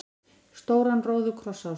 stóran róðukross á sér.